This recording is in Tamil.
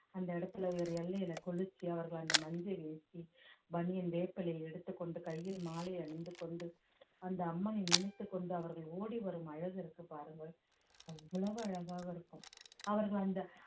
அந்த இடத்துல ஒரு எல்லையில குளிச்சு அவர்கள் அந்த மஞ்சள் ஏத்தி பனியன் வேப்பிலையை எடுத்துக்கொண்டு கையில் மாலை அணிந்து கொண்டு அந்த அம்மனை நினைத்துக் கொண்டு அவர்கள் ஓடி வரும் அழகு இருக்கு பாருங்கள் அவ்வளவு அழகாக இருக்கும் அவர்கள் அந்த